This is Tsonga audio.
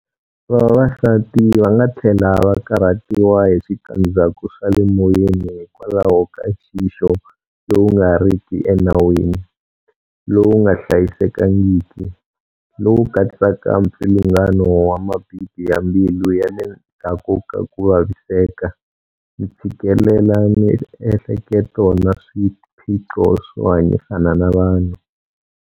Vavasati va nga tlhela va karhatiwa hi switandzhaku swa le moyeni hikwalaho ka nxixo lowu nga riki enawini, lowu nga hlayisekangiki, lowu katsaka mpfilungano wa mabibi ya mbilu ya le ndzhaku ka ku vaviseka, ntshikelelamiehleketo na swiphiqo swo hanyisana na vanhu.